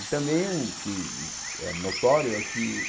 E também um que é notório é que